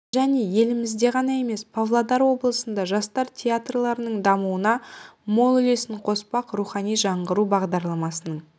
және елімізде ғана емес павлодар облысында жастар театрларының дамуына мол үлесін қоспақ рухани жаңғыру бағдарламасының